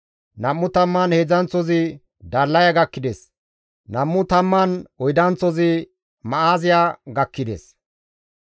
Nam7u tamman heedzdzanththozi Dallaya gakkides; Nam7u tamman oydanththozi Ma7aaziya gakkides.